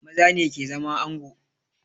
Maza ne ke zama ango